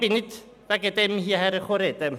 Ich bin aber nicht deshalb ans Mikrofon getreten.